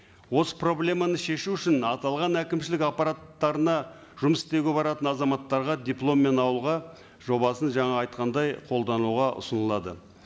осы проблеманы шешу үшін аталған әкімшілік апппараттарына жұмыс істеуге баратын азаматтарға дипломмен ауылға жобасын жаңа айтқандай қолдануға ұсынылады